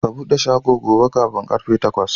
Ka buɗe shago gobe kafin karfe takwas!